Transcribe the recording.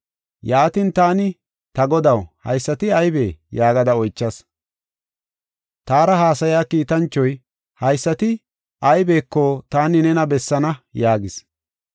Yaatin taani, “Ta godaw, haysati aybee?” yaagada oychas. Taara haasaya kiitanchoy, “Haysati aybeko taani nena bessaana” yaagis.